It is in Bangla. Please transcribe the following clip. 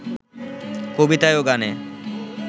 কবিতায় ও গানে